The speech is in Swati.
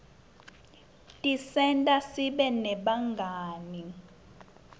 tisenta sibe nebangani